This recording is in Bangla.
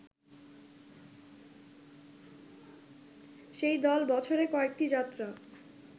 সেই দল বছরে কয়েকটি যাত্রা